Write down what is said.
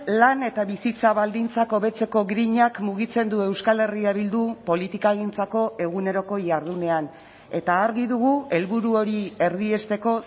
lan eta bizitza baldintzak hobetzeko grinak mugitzen du euskal herria bildu politikagintzako eguneroko jardunean eta argi dugu helburu hori erdiesteko